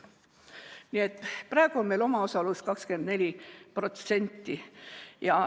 Nii et praegu on meil omaosalus 24%.